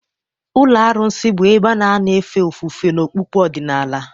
Ụlọ arụsị bụ ebe a na-anọ efe ofufe n'okpukpe ọdịnala.